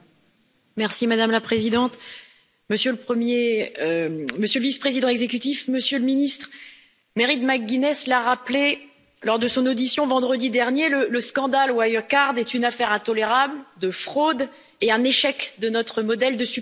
Madame la Présidente, Monsieur le Vice Président exécutif, Monsieur le Ministre, Mairead McGuinness l'a rappelé lors de son audition vendredi dernier le scandale Wirecard est une affaire intolérable de fraude et un échec de notre modèle de supervision.